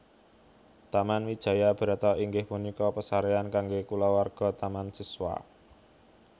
Taman Wijaya Brata inggih punika pasarean kangge kulawarga Taman Siswa